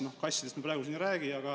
Noh, kassidest me praegu siin ei räägi.